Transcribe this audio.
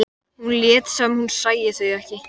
Nöfnin skipta sköpum, sagði hann án þess að breyta svip.